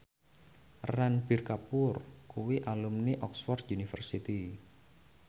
Ranbir Kapoor kuwi alumni Oxford university